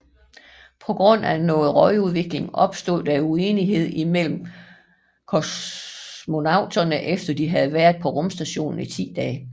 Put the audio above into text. På grund af noget røgudvikling opstod der uenighed imellem kosmonauterne efter de havde været på rumstationen i 10 dage